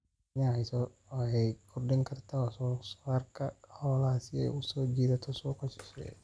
Kenya waxay kordhin kartaa wax soo saarka xoolaha si ay u soo jiidato suuqyo shisheeye.